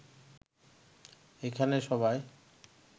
এখানে সবাই